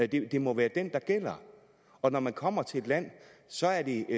det må være den der gælder og når man kommer til et land så er det